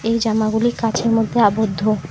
এই জামাগুলি কাঁচের মধ্যে আবদ্ধ।